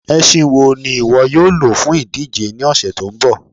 Ẹ̀ṣìn wọ́ ni iwọ yóò ló fún idíjè ní ọṣẹ tó nbọ?